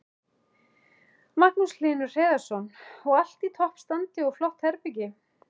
Magnús Hlynur Hreiðarsson: Og allt í toppstandi og flott herbergi?